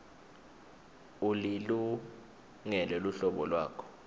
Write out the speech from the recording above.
ulilungele luhlolo lwakho